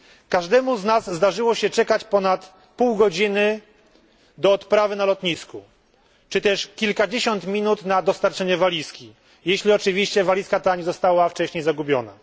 Każdemu z nas zdarzyło się czekać ponad pół godziny do odprawy na lotnisku czy też kilkadziesiąt minut na dostarczenie walizki, jeśli oczywiście walizka ta nie została wcześniej zagubiona.